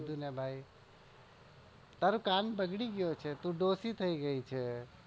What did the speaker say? કીધું ને તારો કાન બગડી ગયો છે તું દોશી થઇ ગયી છે.